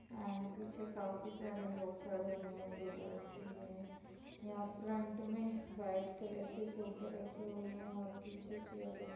End पीछे बहुत सारे लोग खड़े हुए हैं वेटरस भी हैं। यहाँ फ्रंट में वाइट कलर के सोफे रखे हुए हैं और पीछे चेयर रखी --